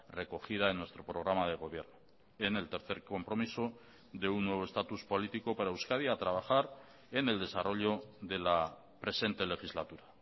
recogida en nuestro programa de gobierno en el tercer compromiso de un nuevo estatus político para euskadi a trabajar en el desarrollo de la presente legislatura